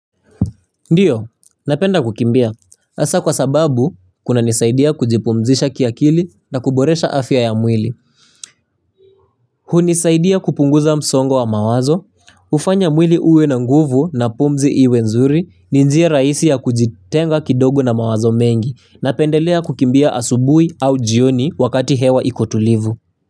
Ndiyo, napenda kukimbia. Hasa kwa sababu, kunanisaidia kujipumzisha kiakili na kuboresha afya ya mwili. Hunisaidia kupunguza msongo wa mawazo, hufanya mwili uwe na nguvu na pumzi iwe nzuri, ni njia rahisi ya kujitenga kidogo na mawazo mengi, napendelea kukimbia asubui au jioni wakati hewa iko tulivu.